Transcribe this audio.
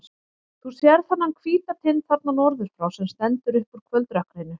Þú sérð þennan hvíta tind þarna norður frá, sem stendur upp úr kvöldrökkrinu.